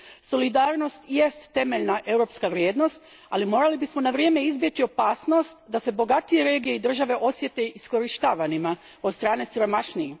Solidarnost jest temeljna europska vrijednost, ali morali bismo na vrijeme izbjeći opasnost da se bogatije regije i države osjete iskorištavanima od strane siromašnijih.